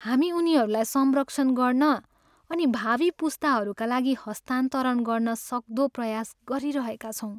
हामी उनीहरूलाई संरक्षण गर्न अनि भावी पुस्ताहरूका लागि हस्तान्तरण गर्न सक्दो प्रयास गरिरहेका छौँ।